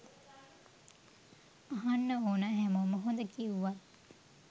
අහන්න ඕනා හැමෝම හොඳ කිව්වත්